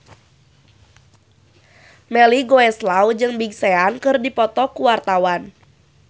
Melly Goeslaw jeung Big Sean keur dipoto ku wartawan